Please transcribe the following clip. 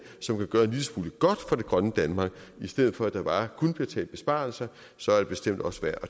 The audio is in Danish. som kan gøre en lille smule godt for det grønne danmark i stedet for at der bare kun bliver talt besparelser så er det bestemt også værd